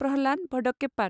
Prahlad भडक्केपात